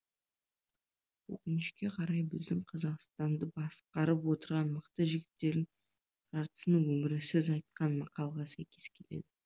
өкінішке қарай біздің қазақстанды басқарып отырған мықты жігіттердің жартысының өмірі сіз айтқан мақалға сәйкес келеді